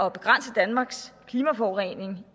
at begrænse danmarks klimaforurening